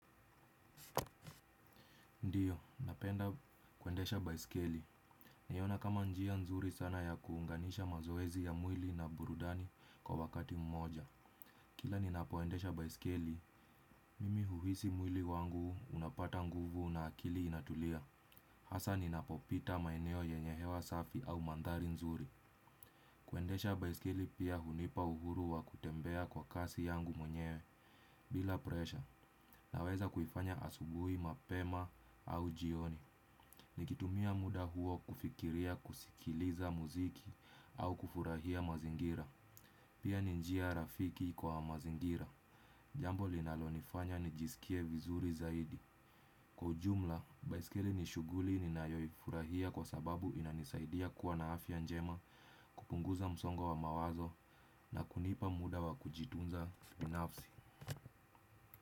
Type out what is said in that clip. Ndio, napenda kuendesha baisikeli. Huiona kama njia nzuri sana ya kuunganisha mazoezi ya mwili na burudani kwa wakati mmoja. Kila ninapoendesha baisikeli, mimi huhisi mwili wangu unapata nguvu na akili inatulia. Hasa ninapopita maeneo yenye hewa safi au mandhari nzuri. Kuendesha baisikeli pia hunipa uhuru wa kutembea kwa kasi yangu mwenyewe bila presha. Naweza kuifanya asubuhi mapema au jioni. Nikitumia muda huo kufikiria, kusikiliza muziki au kufurahia mazingira. Pia ni njia rafiki kwa mazingira. Jambo linalonifanya nijisikie vizuri zaidi. Kwa ujumla, baiski nishughuli ninayoifurahia kwa sababu inanisaidia kuwa na afya njema. Kupunguza msongo wa mawazo na kunipa muda wa kujitunza kibinafsi.